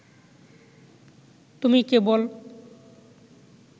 তুমি কেবল